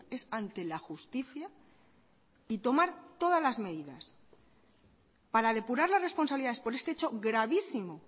es ante la justicia y tomar todas las medidas para depurar las responsabilidades por este hecho gravísimo